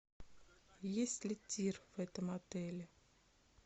есть ли тир в этом отеле